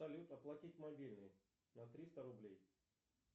салют оплатить мобильный на триста рублей